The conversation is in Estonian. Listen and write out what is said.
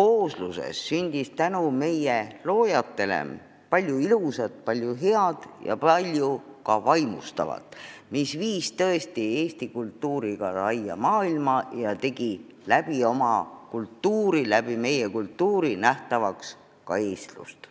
koosluses sündis tänu meie loojatele palju ilusat, palju head ja palju vaimustavat, mis viis tõesti Eesti kultuuri ka laia maailma ja tegi selle toel nähtavaks ka eestlust.